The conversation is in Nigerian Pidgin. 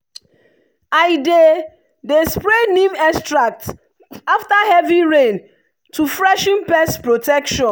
i dey dey spray neem extract after heavy rain to freshen pest protection.